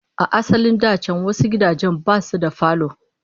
A asalin da can wasu gidajen ma basu da falo